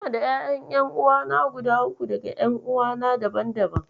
Ina da ƴaƴan ƴan'uwa guda uku daga ƴan'uwana daban-daban.